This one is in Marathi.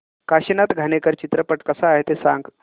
काशीनाथ घाणेकर चित्रपट कसा आहे ते सांग